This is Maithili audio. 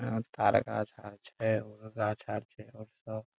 यहाँ तार गाछ आर छै और गाछ आर छै और सब--